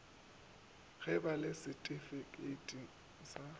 go ba le setifikheiti sa